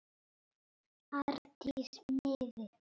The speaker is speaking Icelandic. Arndísi miði.